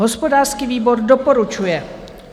Hospodářský výbor doporučuje.